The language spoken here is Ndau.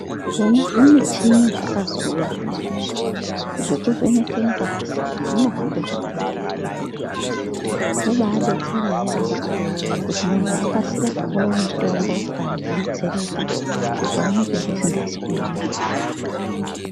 Zvona zvimuchini zvakazouya zvine izvi zvekuvheneka ngazi kuti inohamba zvakanaka ere mukati memuviri zvobadetsere yambo kuti muntu akasire kupuwa mutombo kana kudetsereka zvikaoneka zvisingazi kuema zvakanaka.